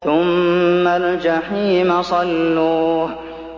ثُمَّ الْجَحِيمَ صَلُّوهُ